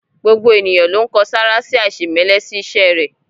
Gbogbo ènìyàn ló n kan sára sí aisemẹlẹ sí iṣẹ rẹ.